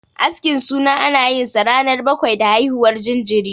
Askin suna ana yinsa ranar bakwai da haihuwar jinjiri.